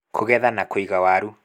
Kũgetha na kũiga waru